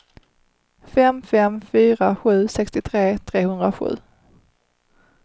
fem fem fyra sju sextiotre trehundrasju